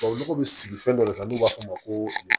Tubabu nɔgɔ bɛ sigi fɛn dɔ le kan n'u b'a f'o ma ko